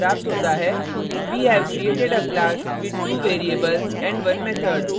हमें output प्राप्त होता है we have created a class with 2 variables and 1 method